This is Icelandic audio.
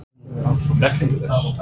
Er hún merkingarlaus?